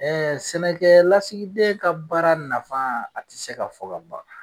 sɛnɛkɛ lasigiden ka baara nafa a tɛ se ka fɔ ka ban.